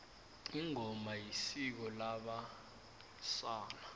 ingoma yisiko labe sana